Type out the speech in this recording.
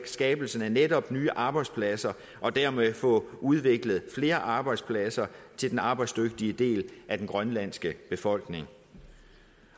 skabelsen af netop nye arbejdspladser og dermed få udviklet flere arbejdspladser til den arbejdsdygtige del af den grønlandske befolkning